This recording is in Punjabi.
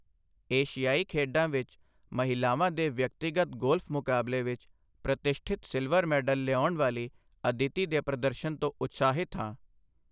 ਏਸ਼ਿਆਈ ਖੇਡਾਂ ਵਿੱਚ ਮਹਿਲਾਵਾਂ ਦੇ ਵਿਅਕਤੀਗਤ ਗੋਲਫ ਮੁਕਾਬਲੇ ਵਿੱਚ ਪ੍ਰਤਿਸ਼ਠਿਤ ਸਿਲਵਰ ਮੈਡਲ ਲਿਆਉਣ ਵਾਲੀ ਅਦਿਤੀ ਦੇ ਪ੍ਰਦਰਸ਼ਨ ਤੋਂ ਉਤਸ਼ਾਹਿਤ ਹਾਂ।